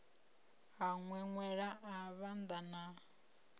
a ṅweṅwela a vhanda na